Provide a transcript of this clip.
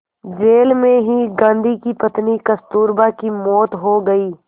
jail में ही गांधी की पत्नी कस्तूरबा की मौत हो गई